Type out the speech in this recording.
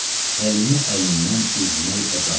Əlimi əlindən üzmək əzabım.